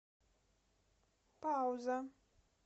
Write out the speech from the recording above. пауза